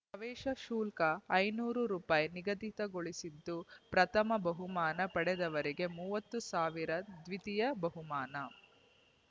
ಪ್ರವೇಶ ಶುಲ್ಕ ಐದುನೂರು ರುಪಾಯಿ ನಿಗದಿಗೊಳಿಸಿದ್ದು ಪ್ರಥಮ ಬಹುಮಾನ ಪಡೆದವರಿಗೆ ಮೂವತ್ತು ಸಾವಿರ ದ್ವಿತೀಯ ಬಹುಮಾನ